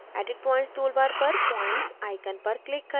edit points tool bar पर points icon पर click करें